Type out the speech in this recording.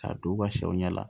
K'a don u ka sɛw ɲɛ la